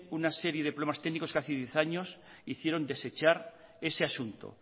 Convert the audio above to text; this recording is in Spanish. una serie de problemas técnicos que hace diez años hicieron desechar ese asunto